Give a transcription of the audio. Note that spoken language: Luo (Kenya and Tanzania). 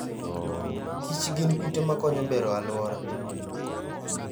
Kich gin kute makonyo bero aluora.